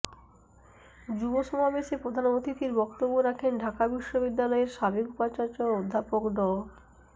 যুব সমাবেশে প্রধান অতিথির বক্তব্য রাখেন ঢাকা বিশ্ববিদ্যালয়ের সাবেক উপাচার্য অধ্যাপক ড